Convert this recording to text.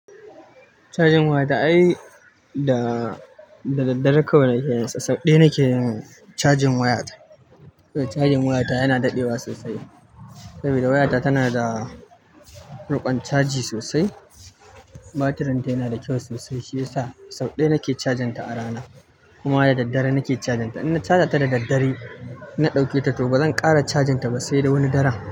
Cajin wayata ai da, da dadare kawai nake yi, sau ɗaya nake yin cajin wayata. Cajin wayata yana daɗewa sosai saboda wayata tana da riƙon caji sosai. Batiri tana da kyau sosai shi yasa son ɗaya nake cajin ta a rana kuma da daddare nake cajin ta. In na caja ta da daddare, na ɗauke ta to bazan ƙara cajin ta ba sai da wani daren.